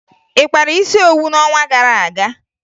Ị kpara isi owu n'ọnwa gara aga?